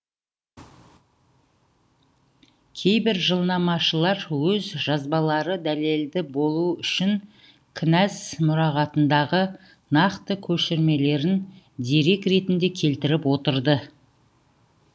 кейбір жылнамашылар өз жазбалары дәлелді болуы үшін кінәз мұрағатындағы нақты көшірмелерін дерек ретінде келтіріп отырды